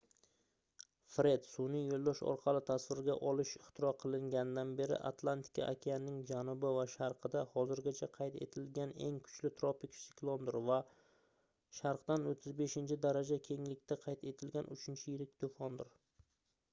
fred sunʼiy yoʻldosh orqali tasvirga olish ixtiro qilinganidan beri atlantika okeanining janubi va sharqida hozirgacha qayd etilganeng kuchli tropik siklondir va sharqdan 35 daraja kenglikda qayd etilgan uchinchi yirik toʻfondir